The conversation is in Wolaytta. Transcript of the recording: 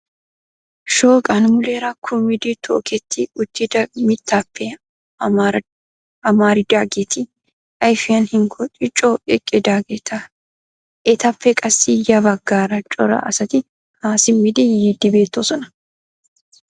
Shooqan muleera kummidi tokketti uttida mittappe amaridaageeti ayfin hinkkooti coo eqqidaageeta, etappe qassi ya baggaara cora asati haa simmidi yiidi beettoosona.